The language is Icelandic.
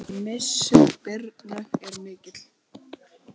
Missir Birnu er mikill.